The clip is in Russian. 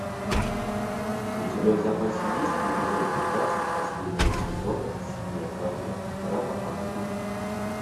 у тебя в запасе есть эпизод пятнадцать последнего сезона синяя капля драма ангелов